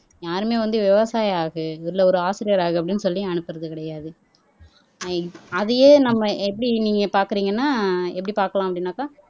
யாருமே வந்து விவசாயி ஆகு இல்லை ஒரு ஆசிரியராக அப்படின்னு சொல்லி அனுப்புறது கிடையாது அதையே ஐ அதையே நம்ம எப்படி நீங்க பாக்குறீங்கன்னா எப்படி பார்க்கலாம் அப்படின்னாக்க